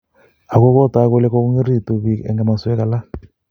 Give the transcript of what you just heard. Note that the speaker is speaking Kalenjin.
Ako kotak kole kokongoringitu pik eng komoswek alak